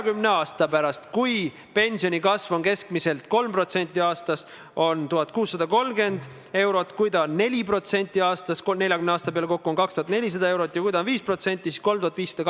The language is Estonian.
Kas te võiksite selle üle mõelda, kuna tegelikult ei ole see Elronile arvestatav kulu võrreldes sellega, kui suur on finantseering, mille riik nii Eesti Raudteele kui ka Elronile rongiliikluse korraldamiseks subsiidiumidena teeb?